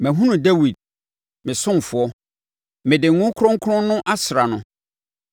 Mahunu Dawid, me ɔsomfoɔ; mede me ngo kronkron no asra no.